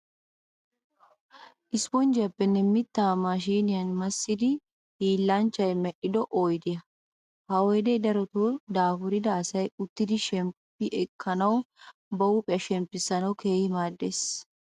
Isiponjjiyaappenne mittaa maashiiniya massidi hiillanchchiya medhido oyidiya. Ha oyidee darotoo daafurida asay uttidi shemppi ekkanawunne ba huuphiya shemppissanawu keehi maaddes.